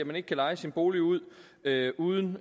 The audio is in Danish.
man ikke kan leje sin bolig ud uden